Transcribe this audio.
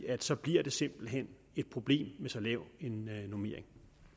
at så bliver det simpelt hen et problem med så lav en normering